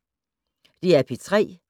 DR P3